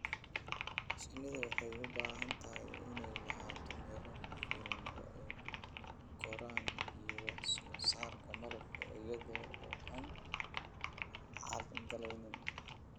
Shinnidu waxay u baahan tahay inay lahaato meelo ku filan oo ay ku koraan iyo wax soo saarka malabka iyada oo aan carqaladayn.